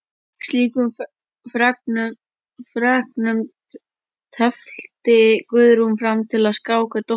Slíkum fregnum tefldi Guðrún fram til að skáka dóttur sinni.